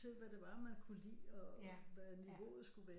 Til hvad det var man kunne lide og hvad niveauet skulle være